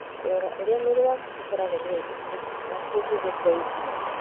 Kũrora ũrĩa mwĩrĩ ũkoragwo na indo iria cia bata kũngĩgũteithia.